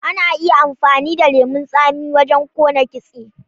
Ana iya amfani da lemon tsami wajen kona kitse.